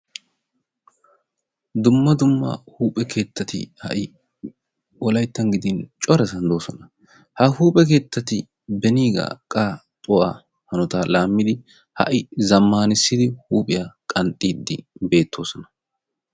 Dumma dumma huuphphe keettati wolaytta gidin corasan de'oosona. Ha huuphphe keettati beniigaa qanxxuwa hanotaa laammidi ha'i zammaanissidi huuphphiya qanxxiiddi bettoosona.